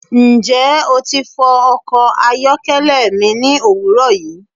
Njẹ o ti fọ ọkọ ayọkẹlẹ mi ni owurọ yi?